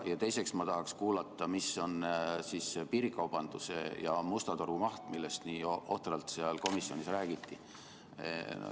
Ja teiseks, ma tahaksin kuulata, mis on piirikaubanduse ja musta turu maht, millest nii ohtralt komisjonis räägiti.